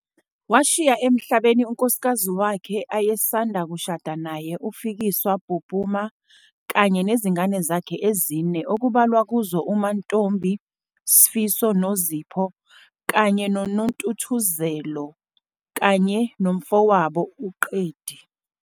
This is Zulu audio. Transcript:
Washiya emhlabeni unkosikazi wakhe ayesanda kushada naye uFikiswa Pupuma kanye nezingane zakhe ezine okubalwa kuzo uMantombi, Sifiso, Nozipho kanye noNontuthuzelo kanye nomfowabo uQedi.